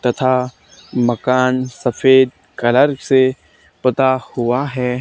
तथा मकान सफेद कलर से पता हुआ है।